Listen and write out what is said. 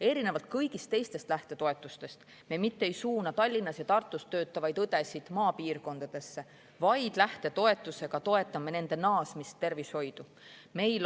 Erinevalt kõigist teistest lähtetoetustest me mitte ei suuna Tallinnas ja Tartus töötavaid õdesid maapiirkondadesse, vaid toetame naasmist tervishoidu.